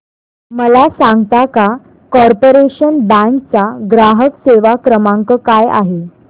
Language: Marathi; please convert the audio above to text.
मला सांगता का कॉर्पोरेशन बँक चा ग्राहक सेवा क्रमांक काय आहे